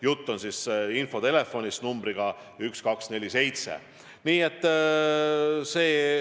Jutt on infotelefonist numbriga 1247.